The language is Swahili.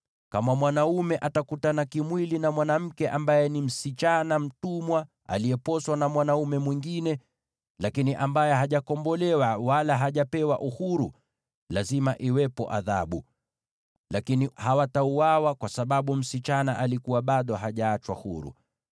“ ‘Kama mwanaume anakutana kimwili na mwanamke ambaye ni msichana mtumwa aliyeposwa na mwanaume mwingine, lakini ambaye hajakombolewa wala hajapewa uhuru, lazima iwepo adhabu inayofaa. Hata hivyo hawatauawa, kwa sababu msichana alikuwa bado hajaachwa huru.